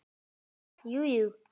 Ha, jú, jú